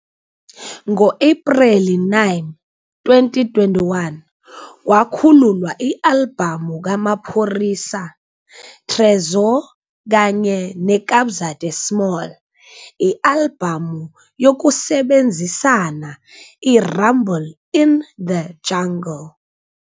Ngo-Ephreli 9, 2021, kwakhululwa i-albhamu kaMaphorisa, Tresor kanye neKabza De Small i-albhamu yokusebenzisana "iRumble in the Jungle".